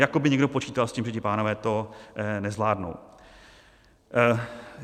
Jako by někdo počítal s tím, že ti pánové to nezvládnou.